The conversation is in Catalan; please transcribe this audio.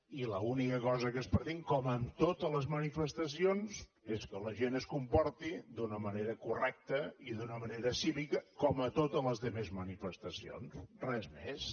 i l’única cosa que es pretén com amb totes les manifestacions és que la gent es comporti d’una manera correcta i d’una manera cívica com a totes les altres manifestacions res més